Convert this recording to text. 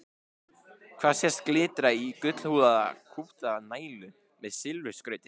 Hér sést glitta í gullhúðaða kúpta nælu með silfurskrauti.